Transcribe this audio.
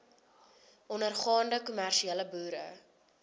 ondergaande kommersiële boere